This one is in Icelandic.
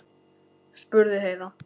spurði Heiða.